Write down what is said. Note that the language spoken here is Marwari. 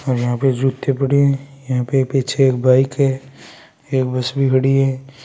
और यहां पर जूते पड़े हैं यहां पर पीछे एक बाइक है एक बस भी खड़ी है।